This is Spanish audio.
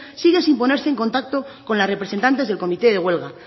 sigue sin ponerse en contacto con las representantes del comité de huelga